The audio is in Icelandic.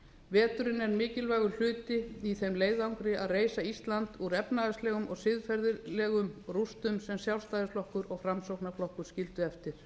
veturinn er mikilvægur hluti í þeim leiðangri að reisa ísland úr efnahagslegum og siðferðislegum rústum sem sjálfstæðisflokkur og framsóknarflokkur skildu eftir